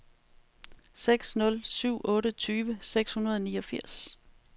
seks nul syv otte tyve seks hundrede og niogfirs